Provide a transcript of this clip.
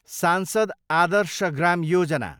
सांसद आदर्श ग्राम योजना